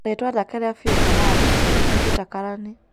Ritwa rĩake rĩa fĩũ Kamaru, nĩ Peter Karanĩ